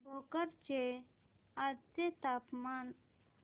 भोकर चे आजचे तापमान